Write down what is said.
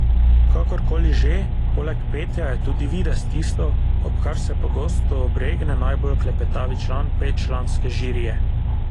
Kakor koli že, poleg petja je tudi videz tisto, ob kar se pogosto obregne najbolj klepetavi član petčlanske žirije.